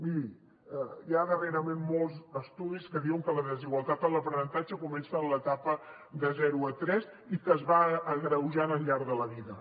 miri hi ha darrerament molts estudis que diuen que la desigualtat en l’aprenentatge comença en l’etapa de zero a tres i que es va agreujant al llarg de la vida